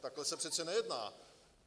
Takhle se přece nejedná.